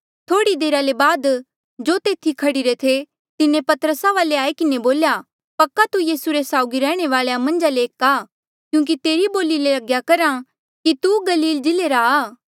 थोह्ड़ी देरा ले बाद जो तेथी खड़ीरे थे तिन्हें पतरसा वाले आई किन्हें बोल्या पक्का तू यीसू रे साउगी रैह्णे वालेया मन्झा ले एक आ क्यूंकि तेरी बोली ले लग्या करहा कि तू गलील जिल्ले रा